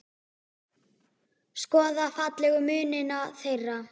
Skoða fallegu munina þeirra.